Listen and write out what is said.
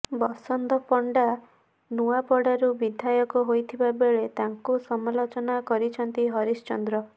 ବସନ୍ତ ପଣ୍ଡା ନୂଆପଡ଼ାରୁ ବିଧାୟକ ହୋଇଥିବା ବେଳେ ତାଙ୍କୁ ସମାଲୋଚନା କରିଛନ୍ତି ହରିଶଚନ୍ଦ୍ର